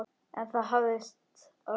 En það hafðist að lokum.